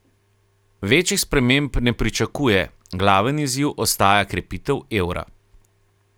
Večjih sprememb ne pričakuje, glaven izziv ostaja krepitev evra.